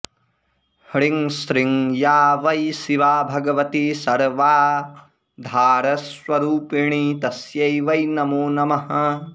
ह्रीं श्रीं या वै शिवा भगवती सर्वाधारस्वरूपिणी तस्यै वै नमो नमः